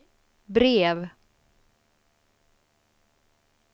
brev